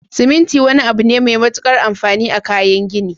siminti wani abune Mai matukar anfani a kayan gini